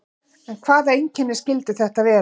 En hvaða einkenni skyldu þetta vera?